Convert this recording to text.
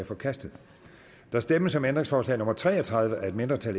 forkastet der stemmes om ændringsforslag nummer tre og tredive af et mindretal